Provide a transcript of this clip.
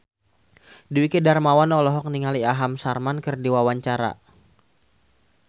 Dwiki Darmawan olohok ningali Aham Sharma keur diwawancara